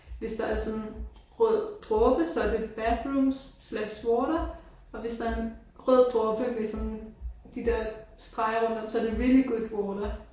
Hvis der er sådan rød dråbe så er det bathrooms slash water og hvis der er en rød dråbe med sådan de der streger rundt om så er det really good water